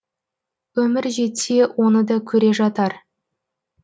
өмір жетсе оны да көре жатар